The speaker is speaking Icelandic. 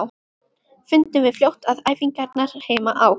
Fundum við fljótt að æfingarnar heima á